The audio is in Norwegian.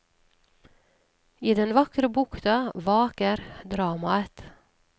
I den vakre bukta vaker dramaet.